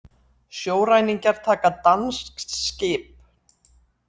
Sjóræningjar taka danskt skip